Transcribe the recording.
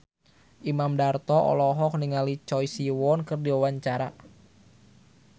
Imam Darto olohok ningali Choi Siwon keur diwawancara